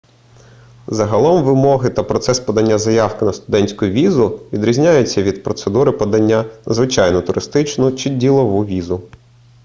загалом вимоги та процес подання заявки на студентську візу відрізняються від процедури подання на звичайну туристичну чи ділову візу